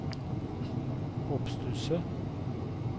oppstusset